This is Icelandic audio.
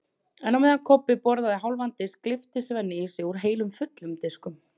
En á meðan Kobbi borðaði hálfan disk gleypti Svenni í sig úr tveimur fullum diskum.